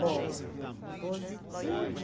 Bom, positivo...